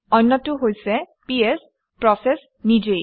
অন্যটো হৈছে PS process নিজেই